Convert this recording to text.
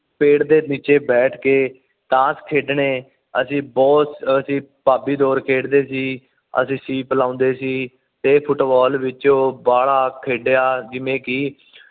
ਪੇੜ ਦੇ ਨੀਚੇ ਬੈਠ ਕੇ ਤਾਸ਼ ਖੇਡਣੇ ਅਸੀਂ ਬੁਹਤ ਅਸੀਂ ਭਾਭੀ ਦਿਓਰ ਖੇਡਦੇ ਸੀ ਅਸੀਂ ਸੀਪ ਲੌਂਦੇ ਸੀ ਤੇ ਫੁਟਬਾਲ ਵਿੱਚੋ ਬਾਹਲਾ ਖੇਡਿਆ ਜਿਵੇਂ ਕਿ